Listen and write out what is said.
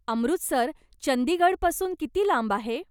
अमृतसर चंदीगडपासून किती लांब आहे?